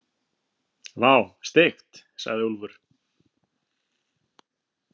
Vá, steikt, sagði Úlfur.